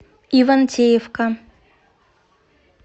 ивантеевка